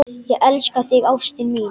Ég elska þig ástin mín.